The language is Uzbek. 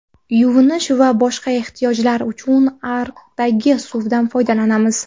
Yuvinish va boshqa ehtiyojlar uchun ariqdagi suvdan foydalanamiz.